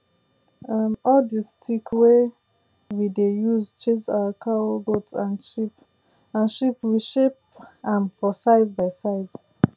um all the stick wey we dey use chase our cowgoat and sheep we shape am for size by size